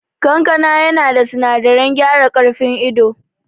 Kankana yana da sinadarin gyara karfin ido